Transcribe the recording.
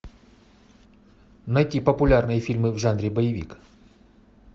найти популярные фильмы в жанре боевик